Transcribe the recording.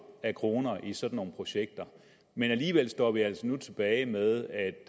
af kroner i sådan nogle projekter men alligevel står vi altså nu tilbage med at